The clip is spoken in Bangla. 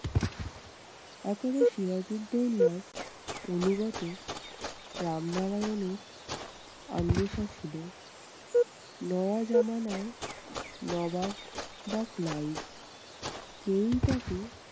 এখন সিরাজুদ্দোল্লার অনুগত রামনারায়ানের ছিল নোয়াজমানায় নবাব বা ক্লাইভ কেউই তাকে